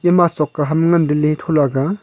ma choka ham ngan te le thola ga.